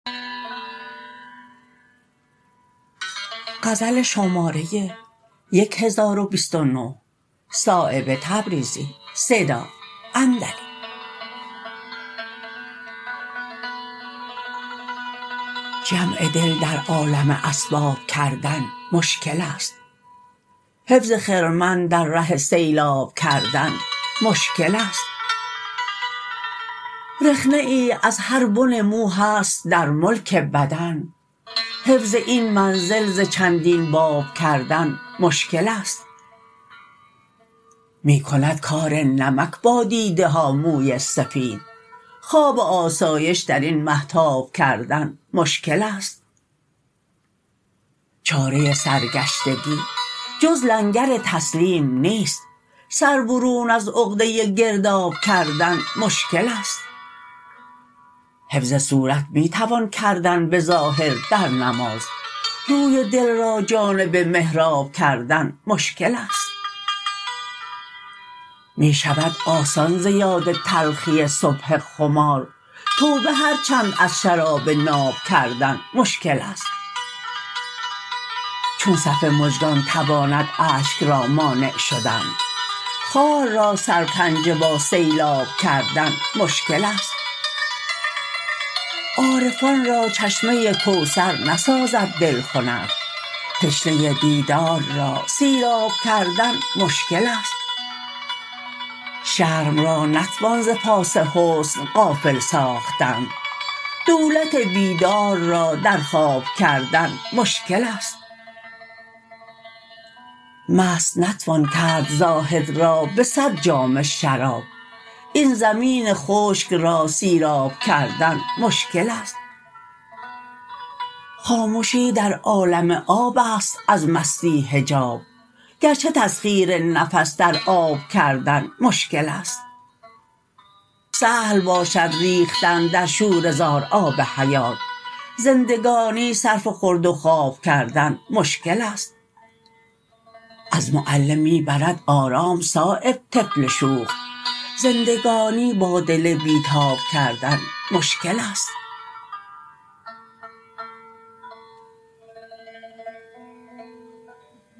جمع دل در عالم اسباب کردن مشکل است حفظ خرمن در ره سیلاب کردن مشکل است رخنه ای از هر بن مو هست در ملک بدن حفظ این منزل ز چندین باب کردن مشکل است می کند کار نمک با دیده ها موی سفید خواب آسایش درین مهتاب کردن مشکل است چاره سرگشتگی جز لنگر تسلیم نیست سر برون از عقده گرداب کردن مشکل است حفظ صورت می توان کردن به ظاهر در نماز روی دل را جانب محراب کردن مشکل است می شود آسان ز یاد تلخی صبح خمار توبه هر چند از شراب ناب کردن مشکل است چون صف مژگان تواند اشک را مانع شدن خار را سرپنجه با سیلاب کردن مشکل است عارفان را چشمه کوثر نسازد دل خنک تشنه دیدار را سیراب کردن مشکل است شرم را نتوان ز پاس حسن غافل ساختن دولت بیدار را در خواب کردن مشکل است مست نتوان کرد زاهد را به صد جام شراب این زمین خشک را سیراب کردن مشکل است خامشی در عالم آب است از مستی حجاب گرچه تسخیر نفس در آب کردن مشکل است سهل باشد ریختن در شوره زار آب حیات زندگانی صرف خورد و خواب کردن مشکل است از معلم می برد آرام صایب طفل شوخ زندگانی با دل بی تاب کردن مشکل است